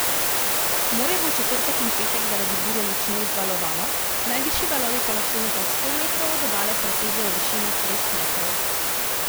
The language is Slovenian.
Morje bo v četrtek in petek zaradi burje močno vzvalovano, najvišji valovi pa lahko nekaj sto metrov od obale presežejo višino treh metrov.